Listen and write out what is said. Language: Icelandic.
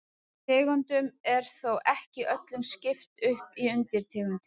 Tegundum er þó ekki öllum skipt upp í undirtegundir.